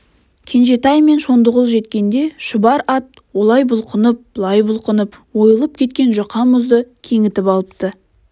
кенжетай мен шондығұл жеткенде шұбар ат олай бұлқынып бұлай бұлқынып ойылып кеткен жұқа мұзды кеңітіп алыпты